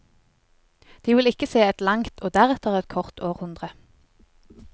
De vil ikke se et langt og deretter et kort århundre.